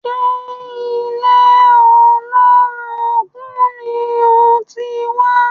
Ṣe ilé olórogún ni o ti wá?